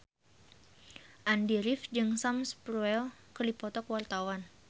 Andy rif jeung Sam Spruell keur dipoto ku wartawan